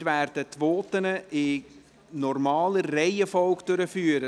Wir werden die Voten in der normalen Reihenfolge hören.